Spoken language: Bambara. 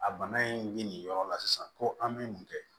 A bana in mi nin yɔrɔ la sisan ko an bɛ mun kɛ